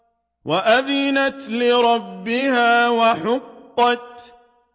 وَأَذِنَتْ لِرَبِّهَا وَحُقَّتْ